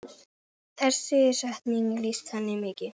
Þessi setning lýsir henni mikið.